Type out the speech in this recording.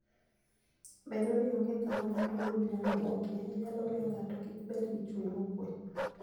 Bedo ni onge kama ng'ato owuon nyalo buokie, nyalo miyo ng'ato kik bed gi chuny mokuwe.